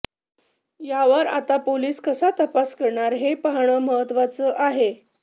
यावर आता पोलीस कसा तपास करणार हे पाहणं महत्त्वाचं आहे